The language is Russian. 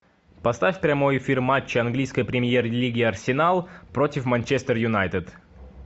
поставь прямой эфир матча английской премьер лиги арсенал против манчестер юнайтед